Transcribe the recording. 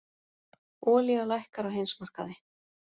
Olía lækkar á heimsmarkaði